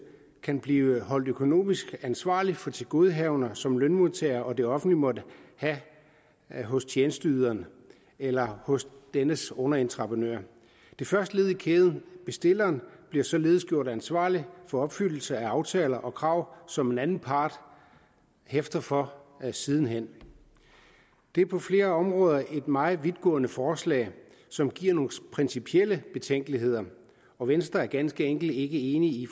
kan blive holdt økonomisk ansvarlig for tilgodehavender som lønmodtagere og det offentlige måtte have hos tjenesteyderen eller hos dennes underentreprenør det første led i kæden bestilleren bliver således gjort ansvarlig for opfyldelse af aftaler og krav som en anden part hæfter for siden hen det er på flere områder et meget vidtgående forslag som giver nogle principielle betænkeligheder og venstre er ganske enkelt ikke enig